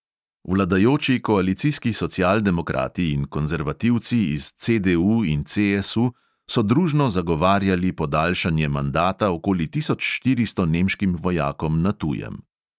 Vladajoči koalicijski socialdemokrati in konzervativci iz CDU in CSU so družno zagovarjali podaljšanje mandata okoli tisoč štiristo nemškim vojakom na tujem.